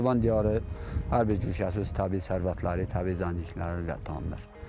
Naxçıvan diyarı hər bir köşəsi öz təbii sərvətləri, təbii zənginlikləri ilə tanınır.